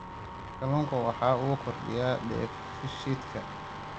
Kalluunku waxa uu kordhiyaa dheefshiidka.